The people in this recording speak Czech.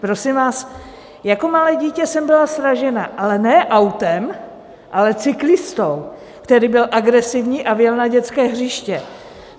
Jako malé dítě jsem byla sražena, ale ne autem, ale cyklistou, který byl agresivní a vjel na dětské hřiště.